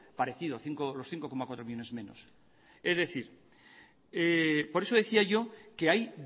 parecido los cinco coma cuatro millónes menos por eso decía yo que hay